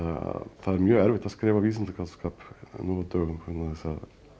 er mjög erfitt að skrifa vísindaskáldskap nú á dögum vegna þess að